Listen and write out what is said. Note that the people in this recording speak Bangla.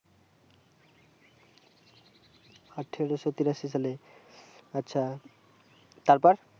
আঠারোশো তিরাশি সালে আচ্ছা তারপর